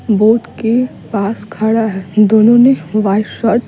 boat के पास खड़ा है दोनों ने वाइट शर्ट --